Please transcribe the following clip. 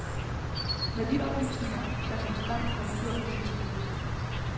Med de oplysninger, der kom frem, har vi gjort, det vi skulle.